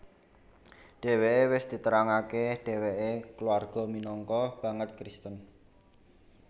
Dheweke wis diterangake dheweke kulawarga minangka banget Kristen